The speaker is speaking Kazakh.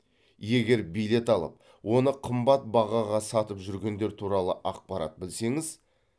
егер билет алып оны қымбат бағаға сатып жүргендер туралы ақпарат білсеңіз